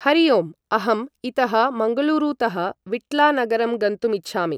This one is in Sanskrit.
हरि ओम् अहम् इतः मङ्गलूरुतः विट्लानगरं गन्तुमिच्छामि ।